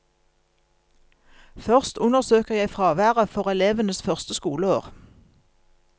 Først undersøker jeg fraværet for elevenes første skoleår.